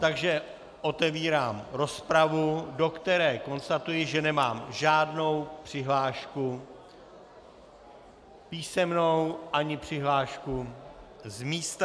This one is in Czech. Takže otevírám rozpravu, do které konstatuji, že nemám žádnou přihlášku písemnou ani přihlášku z místa.